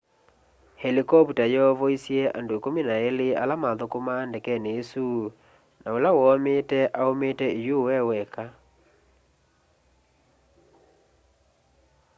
helikopta yoovoisy'e andũ ikũmi na ilĩ ala mathũkũmaa ndekeni isũ na ũla woomiite aũmiite iyũũ eweka